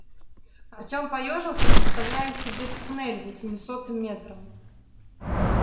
артём поёжился представляя себе туннель за семисотым метром